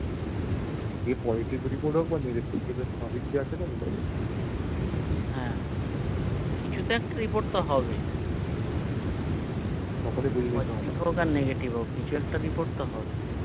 এইসবে তো মনে কর মেয়ে দেখলি এবার সবই কি জানতে পারবো তাইনা হ্যা কিছুটা একটা report তো হবে হম তখনই বুঝে যেতে হবে positive হোক বা negative কিছু তো একটা বোঝা যাবে